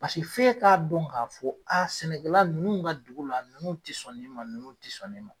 Paseke f'e ka don ka fɔ a sɛnɛkɛla nunnu ka dugu la nunnu ti sɔn nin ma, nunnu ti sɔn nin ma.